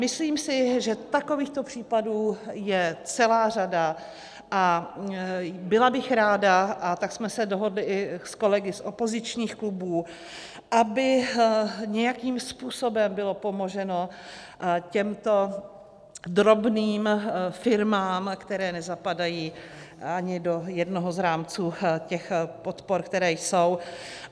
Myslím si, že takovýchto případů je celá řada, a byla bych ráda, a tak jsme se dohodli i s kolegy z opozičních klubů, aby nějakým způsobem bylo pomoženo těmto drobným firmám, které nezapadají ani do jednoho z rámců těch podpor, které jsou.